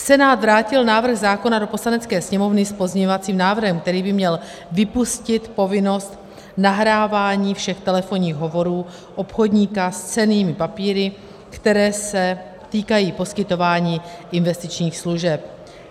Senát vrátil návrh zákona do Poslanecké sněmovny s pozměňovacím návrhem, který by měl vypustit povinnost nahrávání všech telefonních hovorů obchodníka s cennými papíry, které se týkají poskytování investičních služeb.